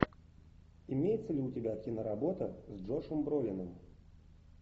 имеется ли у тебя киноработа с джошем бролином